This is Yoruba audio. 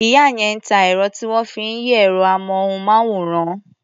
Ìyá yẹn ń ta ẹ̀rọ tí wọ́n fi ń yí ẹ̀rọ-amóhùnmáwòrán.